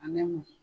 A bɛ mɔ